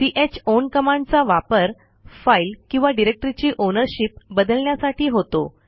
chown कमांडचा वापर file किंवा डिरेक्टरीची ओनरशिप बदलण्यासाठी होतो